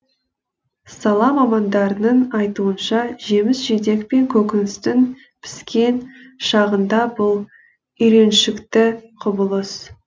сала мамандарының айтуынша жеміс жидек пен көкөністің піскен шағында бұл үйреншікті құбылыс